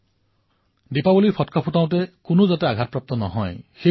হয় এয়া নিশ্চয়কৈ লক্ষ্য কৰিব যে দিপাৱলীৰ সময়ত ফটকা আদিৰ পৰা কোনো ব্যক্তিৰ যাতে হানি নহয়